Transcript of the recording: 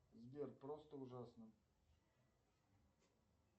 сбер просто ужасно